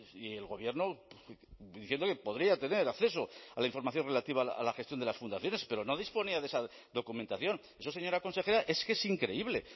y el gobierno diciendo que podría tener acceso a la información relativa a la gestión de las fundaciones pero no disponía de esa documentación eso señora consejera es que es increíble